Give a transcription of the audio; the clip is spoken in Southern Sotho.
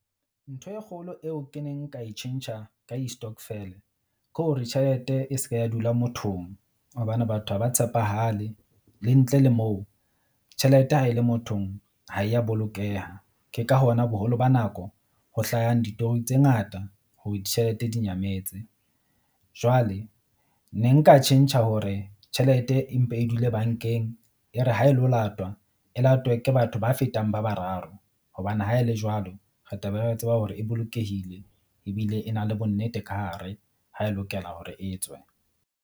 Ntho e kgolo eo ke neng nka e tjhentjha ka di-stokvel ke hore tjhelete e se ke ya dula mothong. Hobane batho ha ba tshepahale le ntle le moo tjhelete ha e le mothong ha ya bolokeha. Ke ka hona boholo ba nako ho hlahang ditori tse ngata hore ditjhelete di nyametse. Jwale ne nka tjhentjha hore tjhelete e mpe e dule bank-eng. E re ha e lo latwa e latwe ke batho ba fetang ba bararo. Hobane ha e le jwalo re ta be re tseba hore e bolokehile ebile e na le bonnete ka hare ha e lokela hore e tswe.